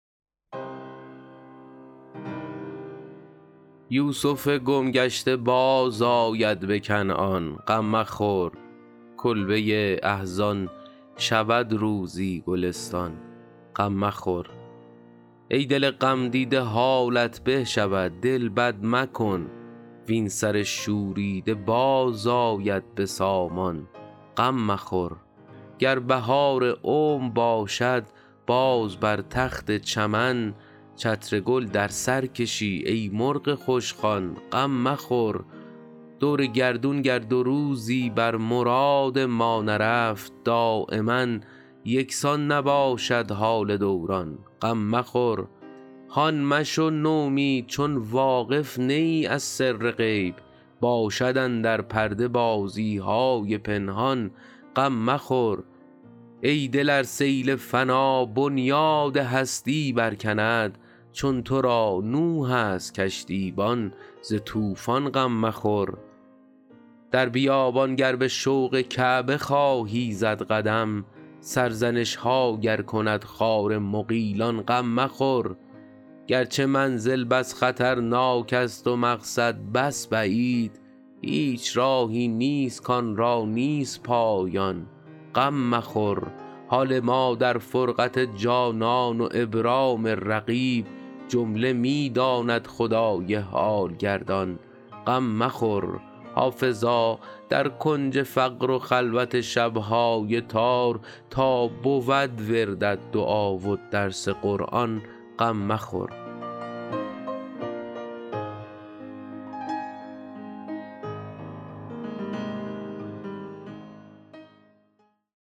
یوسف گم گشته بازآید به کنعان غم مخور کلبه احزان شود روزی گلستان غم مخور ای دل غمدیده حالت به شود دل بد مکن وین سر شوریده باز آید به سامان غم مخور گر بهار عمر باشد باز بر تخت چمن چتر گل در سر کشی ای مرغ خوشخوان غم مخور دور گردون گر دو روزی بر مراد ما نرفت دایما یکسان نباشد حال دوران غم مخور هان مشو نومید چون واقف نه ای از سر غیب باشد اندر پرده بازی های پنهان غم مخور ای دل ار سیل فنا بنیاد هستی برکند چون تو را نوح است کشتیبان ز طوفان غم مخور در بیابان گر به شوق کعبه خواهی زد قدم سرزنش ها گر کند خار مغیلان غم مخور گرچه منزل بس خطرناک است و مقصد بس بعید هیچ راهی نیست کآن را نیست پایان غم مخور حال ما در فرقت جانان و ابرام رقیب جمله می داند خدای حال گردان غم مخور حافظا در کنج فقر و خلوت شب های تار تا بود وردت دعا و درس قرآن غم مخور